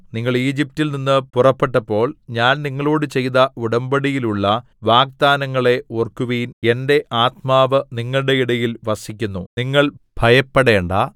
നിങ്ങൾ ഈജിപ്റ്റിൽ നിന്ന് പുറപ്പെട്ടപ്പോൾ ഞാൻ നിങ്ങളോട് ചെയ്ത ഉടമ്പടിയിൽ ഉള്ള വാഗ്ദാനങ്ങളെ ഓർക്കുവിൻ എന്റെ ആത്മാവ് നിങ്ങളുടെ ഇടയിൽ വസിക്കുന്നു നിങ്ങൾ ഭയപ്പെടേണ്ടാ